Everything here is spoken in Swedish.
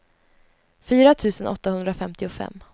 fyra tusen åttahundrafemtiofem